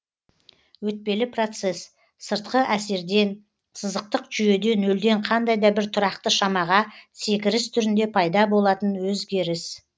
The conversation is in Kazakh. өтпелі процесс сыртқы әсерден сызықтық жүйеде нөлден қандай да бір тұрақты шамаға секіріс түрінде пайда болатын өзгеріс